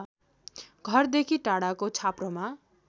घरदेखि टाढाको छाप्रोमा